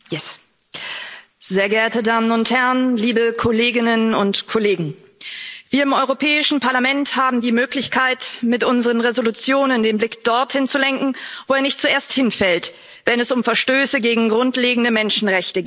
Frau Präsidentin, sehr geehrte Damen und Herren, liebe Kolleginnen und Kollegen! Wir im Europäischen Parlament haben die Möglichkeit, mit unseren Entschließungen den Blick dorthin zu lenken, wo er nicht zuerst hinfällt, wenn es um Verstöße gegen grundlegende Menschenrechte geht.